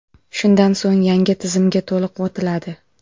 Shundan so‘ng yangi tizimga to‘liq o‘tiladi.